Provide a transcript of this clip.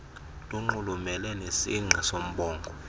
lunxulumene nesingqi soombongo